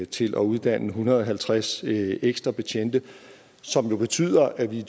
til at uddanne en hundrede og halvtreds ekstra betjente som jo betyder at vi i